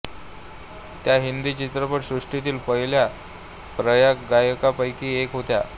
त्या हिंदी चित्रपट सृष्टीतील पहिल्या पार्श्वगायिकांपैकी एक होत्या